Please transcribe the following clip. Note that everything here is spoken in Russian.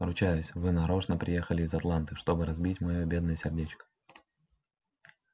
ручаюсь вы нарочно приехали из атланты чтобы разбить моё бедное сердечко